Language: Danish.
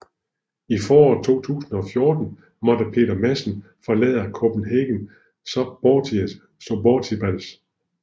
I foråret 2014 måtte Peter Madsen forlade Copenhagen Suborbitals